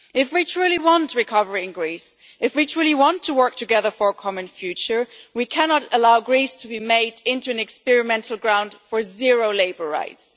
If we truly want recovery in Greece, if we truly want to work together for a common future we cannot allow Greece to be made into an experimental ground for zero labour rights.